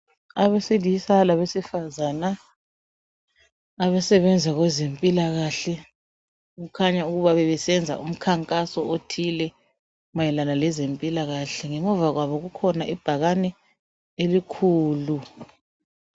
Abesilisa labesifazana abasebenza kwezempilakahle okukhanya ukuba bebesenza imikhankaso othile mayelana lezempilakahle ngemva kwabo kulebhakani elikhulu.